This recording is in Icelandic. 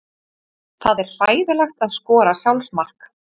Það er hræðilegt að skora sjálfsmark.